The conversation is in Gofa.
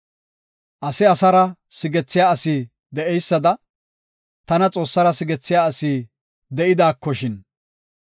Ase asara sigethiya asi de7eysada, tana Xoossara sigethiya asi de7idaba gidernishin.